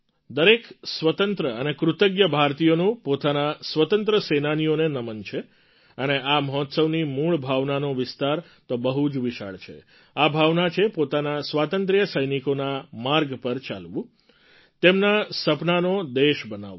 દરેક સ્વતંત્ર અને કૃતજ્ઞ ભારતીયનું પોતાના સ્વતંત્ર સેનાનીઓને નમન છે અને આ મહોત્સવની મૂળ ભાવનાનો વિસ્તાર તો બહુ જ વિશાળ છે આ ભાવના છે પોતાના સ્વાતંત્ર્ય સૈનિકોના માર્ગ પર ચાલવું તેમનાં સપનાંનો દેશ બનાવવો